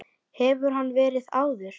Hefur hann verið áður?